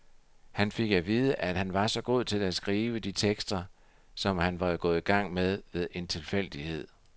Han fik at vide, at han var så god til at skrive de tekster, som han var gået i gang med ved en tilfældighed.